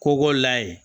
Kobɔ la ye